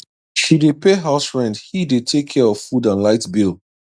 she dey pay house rent he dey take care of food and light bill